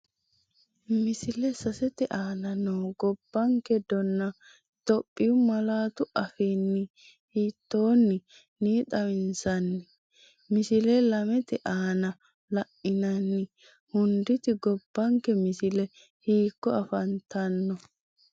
Misile 3te aana noo gobbanke dona Itophiyu malaatu afiinni hiittoon- ni xawinsanni? Misile 2te aana la’inanni hunditi gobbanke misile hiikko afantanno?